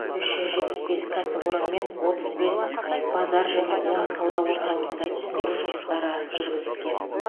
үш жүз жетпіс бес кәсіпорын мен отыз бес базар және он сауда орталығында түсіндіру жұмыстары жүргізілген